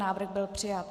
Návrh byl přijat.